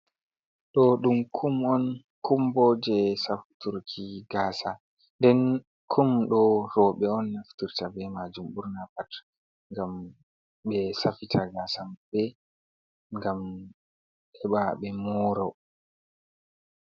Ɗo ɗum kum on. Kumbo je safturki gasa. Nɗen kum ɗo robe on nafturta be majum burna pat. Ngam be safita gasambe. Ngam heba be moro.